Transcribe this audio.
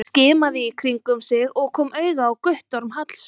Hann skimaði í kringum sig og kom auga á Guttorm Hallsson.